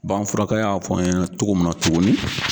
Bagan furakɛla y'a fɔ n ɲɛna togo min na tuguni